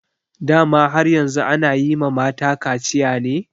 Dama har yanzu ana yi ma mata kaciya ne?